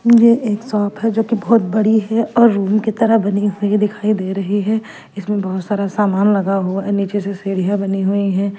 ये एक शॉप है जो कि बहुत बड़ी है और रूम कि तरह बनी हुई दिखाई दे रही है इसमे बहुत सारा सामान लगा हुआ है नीचे से सीडिया बनी हुई है।